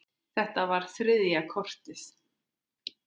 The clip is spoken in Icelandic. Þetta var þriðja kortið.